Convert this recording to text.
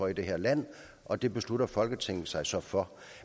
i det her land og det besluttede folketinget sig så for